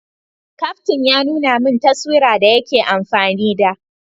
Kaftin ya nuna min taswira da yake amfani da